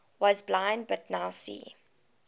was blind but now see